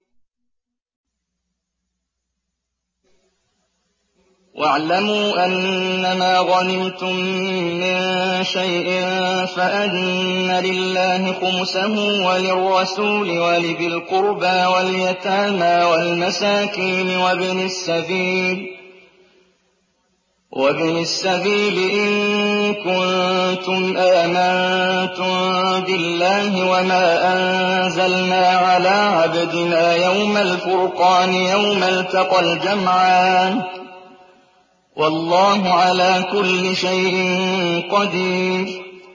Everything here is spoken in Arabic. ۞ وَاعْلَمُوا أَنَّمَا غَنِمْتُم مِّن شَيْءٍ فَأَنَّ لِلَّهِ خُمُسَهُ وَلِلرَّسُولِ وَلِذِي الْقُرْبَىٰ وَالْيَتَامَىٰ وَالْمَسَاكِينِ وَابْنِ السَّبِيلِ إِن كُنتُمْ آمَنتُم بِاللَّهِ وَمَا أَنزَلْنَا عَلَىٰ عَبْدِنَا يَوْمَ الْفُرْقَانِ يَوْمَ الْتَقَى الْجَمْعَانِ ۗ وَاللَّهُ عَلَىٰ كُلِّ شَيْءٍ قَدِيرٌ